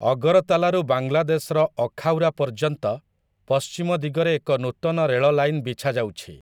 ଅଗରତାଲାରୁ ବାଂଲାଦେଶର ଅଖାଉରା ପର୍ଯ୍ୟନ୍ତ ପଶ୍ଚିମ ଦିଗରେ ଏକ ନୂତନ ରେଳ ଲାଇନ ବିଛାଯାଉଛି ।